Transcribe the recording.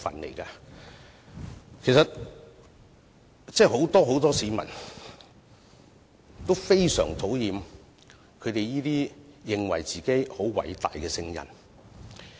其實，很多市民都非常討厭這些自認偉大的"聖人"。